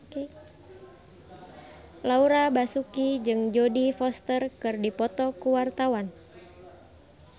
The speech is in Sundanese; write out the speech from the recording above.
Laura Basuki jeung Jodie Foster keur dipoto ku wartawan